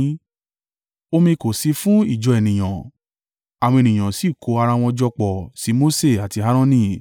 Omi kò sí fún ìjọ ènìyàn, àwọn ènìyàn sì kó ara wọn jọ pọ̀ sí Mose àti Aaroni,